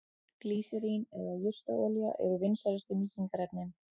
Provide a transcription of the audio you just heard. Glýserín eða jurtaolíur eru vinsælustu mýkingarefnin.